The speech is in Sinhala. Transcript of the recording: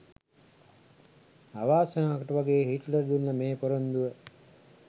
අවාසනාවකට වගේ හිට්ලර් දුන්න මේ පොරොන්දුව